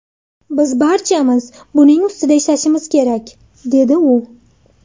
Biz barchamiz buning ustida ishlashimiz kerak”, dedi u.